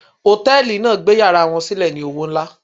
Hòtẹ́ẹ̀lì náà gbé yàrá wọn sílẹ̀ ní owó nlá.